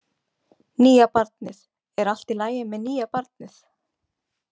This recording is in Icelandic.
Nýja barnið, er allt í lagi með nýja barnið?